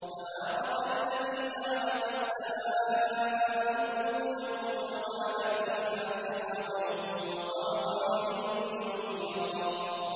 تَبَارَكَ الَّذِي جَعَلَ فِي السَّمَاءِ بُرُوجًا وَجَعَلَ فِيهَا سِرَاجًا وَقَمَرًا مُّنِيرًا